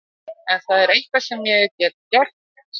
Ef það er eitthvað sem ég get gert- sagði